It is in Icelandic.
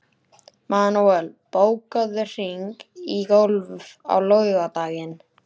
Manuel, bókaðu hring í golf á laugardaginn.